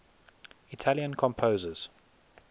italian composers